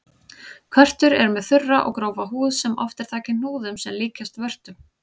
Körtur eru með þurra og grófa húð sem oft er þakin hnúðum sem líkjast vörtum.